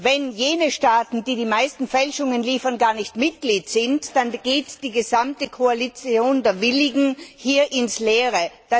Wenn jene Staaten, die die meisten Fälschungen liefern, gar nicht Mitglied sind, dann geht die gesamte Koalition der Willigen hier ins Leere.